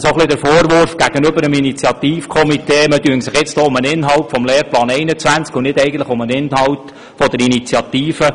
Es war der Vorwurf gegenüber dem Initiativkomitee zu hören, man mache hier nun eigentlich den Inhalt des Lehrplans 21 zum Thema anstelle des Inhalts der Initiative.